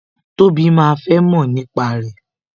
Tobi máa fẹ́ mọ̀ nípa rẹ